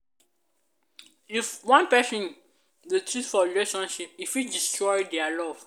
if one pesin dey cheat for relationship e fit destroy dia love